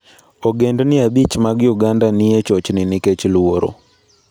Ogendini abich mag Uganda ni e chochni nikech luoro